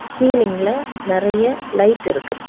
சீலிங்ல நறைய லைட் இருக்கு.